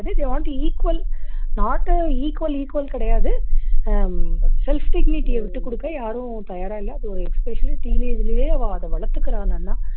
they want to equal not a equal equal கிடையாது hmm self dignity அ விட்டுக்குடுக்க யாரும் தயாரா இல்ல அது ஒரு especially teenage லயே அவா வளத்துக்குறா நன்னா